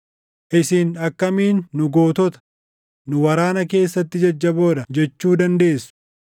“Isin akkamiin ‘Nu gootota; nu waraana keessatti jajjaboo dha’ jechuu dandeessu?